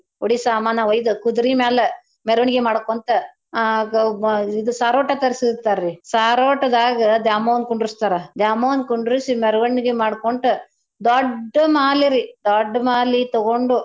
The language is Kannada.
ಉಡಿ ಸ್ವಾಮಾನ ಒಯ್ದು ಕುದ್ರೀ ಮ್ಯಾಲೆ ಮೆರ್ವಣಿಗಿ ಮಾಡ್ಕೊಂತ ಆ ಗ ಇದ್ ಸಾರೋಟಾ ತರ್ಸೀರ್ತರ್ರೀ ಸಾರೋಟ್ದಾಗ ದ್ಯಾಮವ್ವನ್ ಕುಂಡ್ರಸ್ತಾರಾ ದ್ಯಾಮವ್ವನ್ ಕುಂಡ್ರಸಿ ಮೆರ್ವಣಿಗಿ ಮಾಡ್ಕೊಂತ್ ದೊಡ್ಡ ಮಾಲಿರೀ ದೊಡ್ಡ ಮಾಲಿತಗೊಂಡ್.